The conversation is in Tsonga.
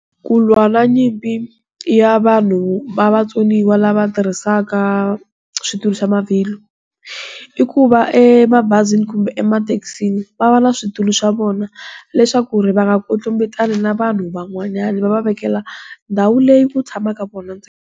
Ku lwa na nyimpi, ya vanhu va vatsoniwa lava tirhisaka switulu swa mavhilwa. I ku va mabazini kumbe emathekisini va va na switulu swa vona leswaku ri va nga kwetlembetani na vanhu van'wanyana, va va vekela, ndhawu leyi ku tshamaka vona .